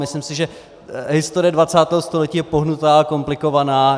Myslím si, že historie 20. století je pohnutá, komplikovaná.